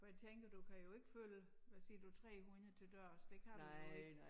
For jeg tænker du kan jo ikke følge hvad siger du 300 til dørs det kan du jo ikke